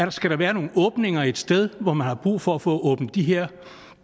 at skal der være nogle åbninger et sted man har brug for at få åbnet de her